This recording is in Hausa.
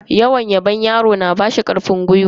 Yawan yabon yaro yana bashi karfin gwiwan yin abubuwa.